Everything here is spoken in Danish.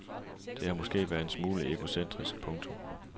Det har måske været en smule egocentrisk. punktum